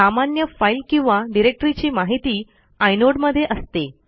सामान्य फाईल किंवा डिरेक्टरीची माहिती आयनोड मध्ये असते